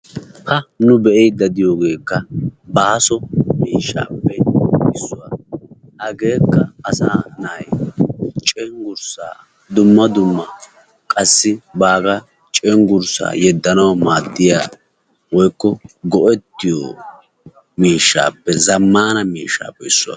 Ha nu be"iidi diyoogekka baaso miishshappe issuwaa. Hageekka asaa na'ay cenggurssa dumma dumma qassi baagaa cenggursaa yeedanaw maaddiyaa woykko go'ettiyoo miishaappe zammana miishshappe issuwaa.